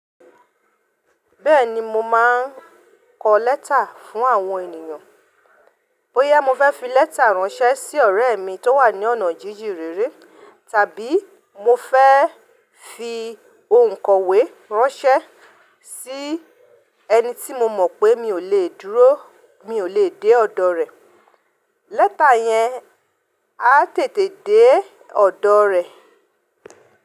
Bẹ́ẹ̀ni mo máa n kọ lẹ́tà fún àwọn ènìyàn. Bóyá mo fẹ́ fi lẹ́tà ránṣẹ́ sí ọ̀rẹ́ mi tó wà ní ọ̀nà jíjìn rere, tàbí mo fẹ́ fi òǹkọ̀wé ránṣẹ́ sí ẹni tí mo mọ̀ pé mi ò lè dúró, mi ò lè dé ọ̀dọ̀ rẹ̀. Lẹ́tà yẹn á tètè dé ọ̀dọ̀ rẹ̀.